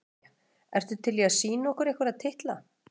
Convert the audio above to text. María: Ertu til í að sýna okkur einhverja titla?